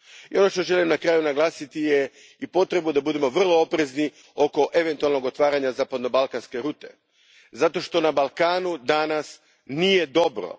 Ono što želim na kraju naglasiti je i potreba da budemo vrlo oprezni oko eventualnog otvaranja zapadnobalkanske rute zato što na Balkanu danas nije dobro.